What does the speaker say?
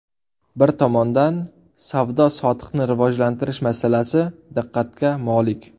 Bir tomondan, savdo-sotiqni rivojlantirish masalasi diqqatga molik.